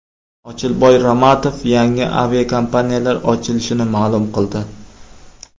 Ochilboy Ramatov yangi aviakompaniyalar ochilishini ma’lum qildi.